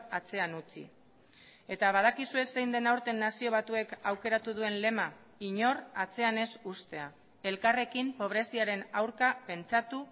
atzean utzi eta badakizue zein den aurten nazio batuek aukeratu duen lema inor atzean ez uztea elkarrekin pobreziaren aurka pentsatu